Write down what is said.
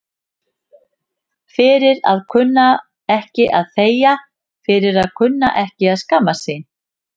Fyrir að kunna ekki að þegja, fyrir að kunna ekki að skammast sín.